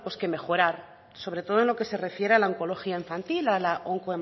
que mejorar sobre todo en lo que se refiere a la oncología infantil a la